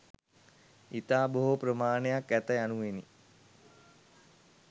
ඉතා බොහෝ ප්‍රමාණයක් ඇත යනුවෙනි.